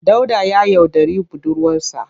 Dauda ya yaudari budurwarsa.